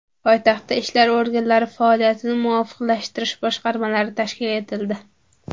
Poytaxtda ishlar organlari faoliyatini muvofiqlashtirish boshqarmalari tashkil etildi.